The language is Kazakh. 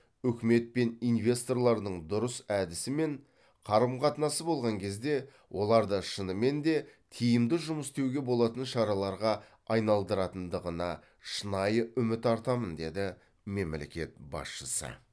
үкімет пен инвесторлардың дұрыс әдісі мен қарым қатынасы болған кезде оларды шынымен де тиімді жұмыс істеуге болатын шараларға айналдыратындығына шынайы үміт артамын деді мемлекет басшысы